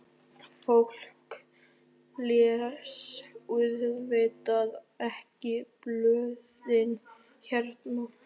Fólk les auðvitað ekki blöðin hérna.